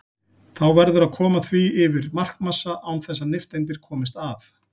Þá verður að koma því yfir markmassa án þess að nifteindir komist að.